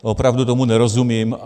Opravdu tomu nerozumím.